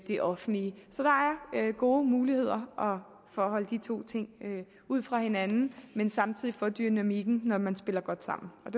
det offentlige så der er gode muligheder for at holde de to ting ude fra hinanden men samtidig få dynamikken når man spiller godt sammen og